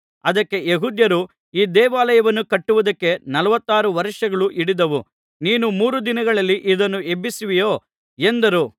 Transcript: ಅದಕ್ಕೆ ಯೆಹೂದ್ಯರು ಈ ದೇವಾಲಯವನ್ನು ಕಟ್ಟುವುದಕ್ಕೆ ನಲವತ್ತಾರು ವರ್ಷಗಳು ಹಿಡಿದವು ನೀನು ಮೂರು ದಿನಗಳಲ್ಲಿ ಇದನ್ನು ಎಬ್ಬಿಸುವಿಯೋ ಎಂದರು